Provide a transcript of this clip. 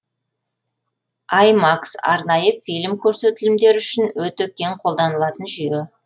аймакс арнайы фильм көрсетілімдері үшін өте кең қолданылатын жүйе